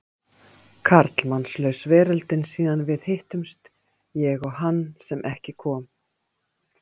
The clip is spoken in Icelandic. Karlmannslaus veröldin síðan við hittumst, ég og hann sem ekki kom.